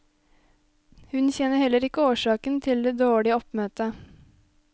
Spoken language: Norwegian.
Hun kjenner heller ikke årsaken til det dårlige oppmøtet.